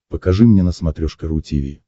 покажи мне на смотрешке ру ти ви